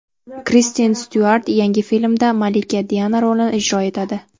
Kristen Styuart yangi filmda malika Diana rolini ijro etadi.